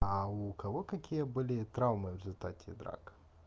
у кого какие были травмы в результате драк